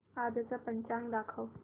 आजचं पंचांग दाखव